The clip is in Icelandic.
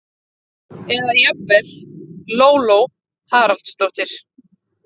eða jafnvel: Lóló Haraldsdóttir!